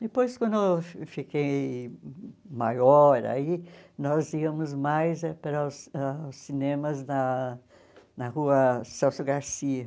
Depois, quando eu fi fiquei maior aí, nós íamos mais para os aos cinemas na na rua Celso Garcia.